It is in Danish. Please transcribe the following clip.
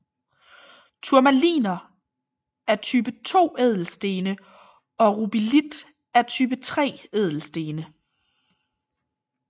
Turmaliner er type 2 ædelstene og rubelit er type 3 ædelstene